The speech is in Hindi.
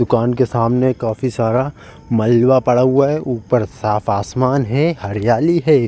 दुकान के सामने काफी सारा मालवा पड़ा हुआ है ऊपर साफ आसमान है हरयाली है।